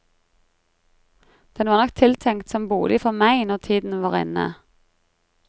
Den var nok tiltenkt som bolig for meg når tiden var inne.